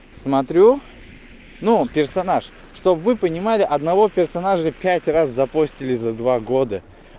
смотрю ну персонаж что б вы понимали одного персонажа пять раз запостили за два года